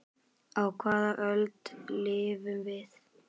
Á hvaða öld lifum við?